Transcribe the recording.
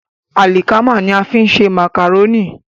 Àlìkámà ní a fi ń ṣe màkàrónì.